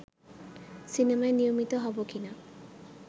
সিনেমায় নিয়মিত হব কি না